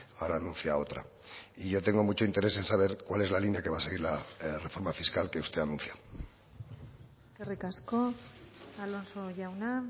ahora anuncia otra y yo tengo mucho interés en saber cuál es la línea que va a seguir la reforma fiscal que usted anuncia eskerrik asko alonso jauna